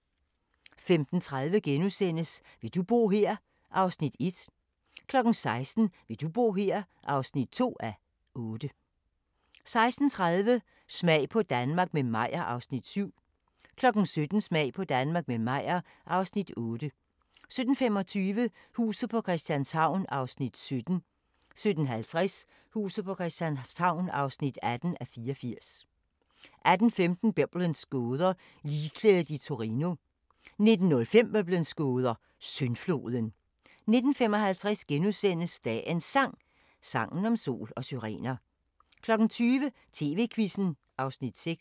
15:30: Vil du bo her? (1:8)* 16:00: Vil du bo her? (2:8) 16:30: Smag på Danmark – med Meyer (Afs. 7) 17:00: Smag på Danmark – med Meyer (Afs. 8) 17:25: Huset på Christianshavn (17:84) 17:50: Huset på Christianshavn (18:84) 18:15: Biblens gåder – Ligklædet i Torino 19:05: Biblens gåder – Syndfloden 19:55: Dagens Sang: Sangen om sol og syrener * 20:00: TV-Quizzen (Afs. 6)